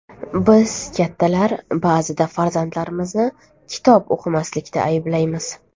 Biz, kattalar ba’zida farzandimizni kitob o‘qimaslikda ayblaymiz.